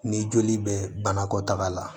Ni joli bɛ banakɔtaga la